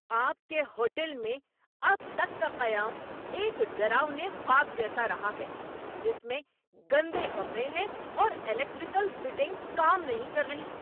آپ کے ہوٹل میں اب تک کا قیام ایک ڈراؤنے خواب جیسا رہا ہے جس میں گندے کمرے ہیں اور الیکٹرکل فٹنگز کام نہیں کر رہیں۔